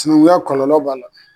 Sinankunya kɔlɔlɔ b'a la.